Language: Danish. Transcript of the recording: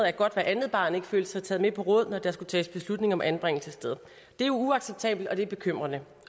at godt hvert andet barn ikke følte sig taget med på råd når der skulle tages beslutninger om anbringelsessted det er uacceptabelt og det er bekymrende